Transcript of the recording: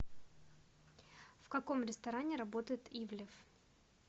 в каком ресторане работает ивлев